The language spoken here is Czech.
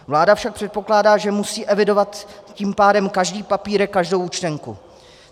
Vláda však předpokládá, že musí evidovat tím pádem každý papírek, každou účtenku.